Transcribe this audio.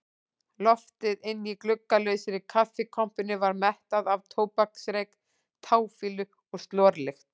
Loftið inni í gluggalausri kaffikompunni var mettað af tóbaksreyk, táfýlu og slorlykt.